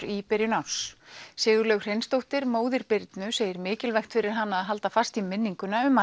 í byrjun árs Sigurlaug Hreinsdóttir móðir Birnu segir mikilvægt fyrir hana að halda fast í minninguna um